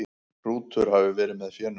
Hrútur hafi verið með fénu.